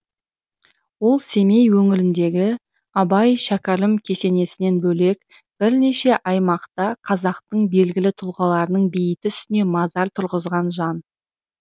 ол семей өңіріндегі абай шәкәрім кесенесінен бөлек бірнеше аймақта қазақтың белгілі тұлғаларының бейіті үстіне мазар тұрғызған жан